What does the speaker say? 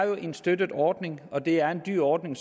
er en støttet ordning og det er en dyr ordning